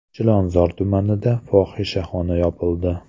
Chilonzor tumanida fohishaxona yopildi.